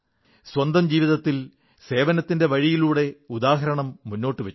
സ്വന്തം ജീവിതത്തിൽ സേവനത്തിന്റെ വഴിയിലൂടെ ഉദാഹരണം മുന്നോട്ടു വച്ചു